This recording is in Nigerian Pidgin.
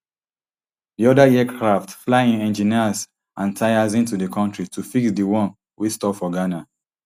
di oda aircraft fly in engineers and tyres into di kontri to fix di one wey stop for ghana